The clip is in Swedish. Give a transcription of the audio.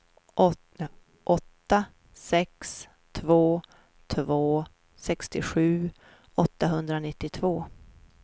åtta sex två två sextiosju åttahundranittiotvå